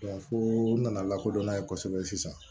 fo nana lakodɔn n'a ye kosɛbɛ sisan